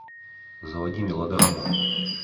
заводи мелодраму